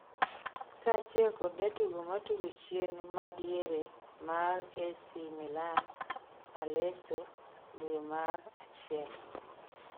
kaachiel kod jatugo matugo chien ma diere mar Ac milan Aleso, dwe mar achiel